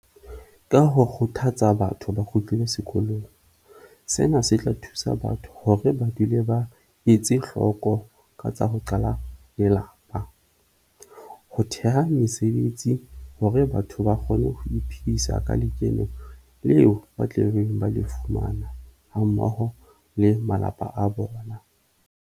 Ka ho kgothatsa batho ba kgutlele sekolong, sena se tla thusa batho hore ba dule ba etse hloko ka tsa ho qala lelapa. Ho theha mesebetsi hore batho ba kgone ho iphedisa ka lekeno leo ba tle beng ba le fumana hammoho le malapa a bona.